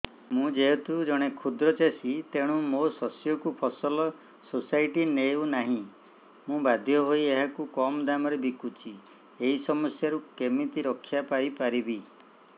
ମୁଁ ଯେହେତୁ ଜଣେ କ୍ଷୁଦ୍ର ଚାଷୀ ତେଣୁ ମୋ ଶସ୍ୟକୁ ଫସଲ ସୋସାଇଟି ନେଉ ନାହିଁ ମୁ ବାଧ୍ୟ ହୋଇ ଏହାକୁ କମ୍ ଦାମ୍ ରେ ବିକୁଛି ଏହି ସମସ୍ୟାରୁ କେମିତି ରକ୍ଷାପାଇ ପାରିବି